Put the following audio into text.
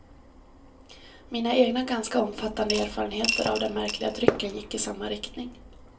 Mina egna ganska omfattande erfarenheter av den märkliga drycken gick i samma riktning.